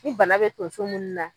U bana bɛ tonso munnu na.